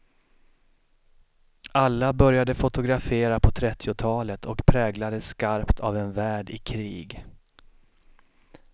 Alla började fotografera på trettiotalet och präglades skarpt av en värld i krig.